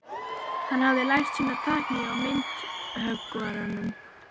Hann hafði lært sína tækni hjá myndhöggvaranum